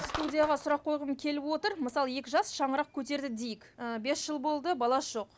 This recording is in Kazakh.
студияға сұрақ қойғым келіп отыр мысалы екі жас шаңырақ көтерді дейік ыыы бес жыл болды баласы жоқ